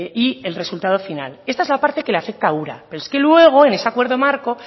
y el resultado final esta es la parte que le afecta ura pero es que luego en ese acuerdo marco